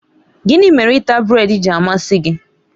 Gịnị mere ịta brèd ji amasị gị?